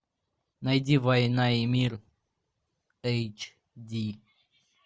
найди война и мир эйч ди